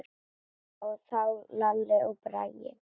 Þá Lalli og Bragi.